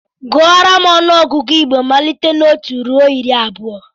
Gụọrọ m ọnụọgụgụ Igbo malite na otu ruo iri abụọ!